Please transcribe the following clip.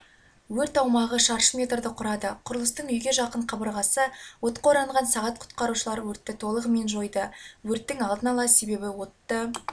өрт аумағы шаршы метрді құрады құрылыстың үйге жақын қабырғасы отқа оранған сағат құтқарушылар өртті толығымен жойды өрттің алдын ала себебі отты